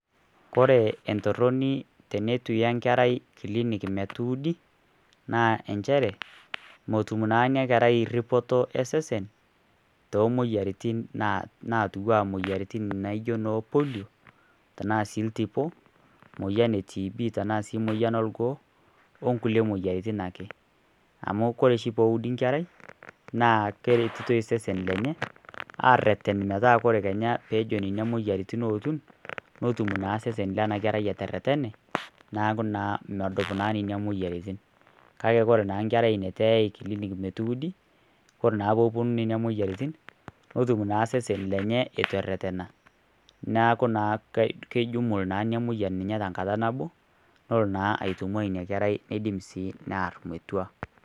Ore entoroni tenetu iya enkerai kilinik metuudi, naa injere metum naa ina kerai eripito esesen toomoyiatin natiu aa moyiaritin naijo noo polio, tanaa sii iltipo moyian e TB anaa sii moyian olgoo onkulie moyiaritin ake, amu ore oshi peeudi nkerai naa keretitoi sesen lenye aareten metaa ore ninye ootu netum naa sesen lena kerai eretene neeku naa medup ninye moyiaritin kake ore taa nkerai neutu eyai kilinik metuudi neeku naa ketum ninye eitu ererena neeku kijum imoyiaritin tenkata nabo nelo naa aitunkua ina kerai niidim sii neyar metua.